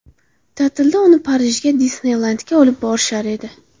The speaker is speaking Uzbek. Ta’tilda uni Parijga, Disneylendga olib borishar edi.